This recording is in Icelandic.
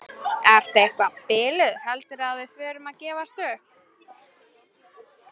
Ertu eitthvað biluð. heldurðu að við förum að gefast upp!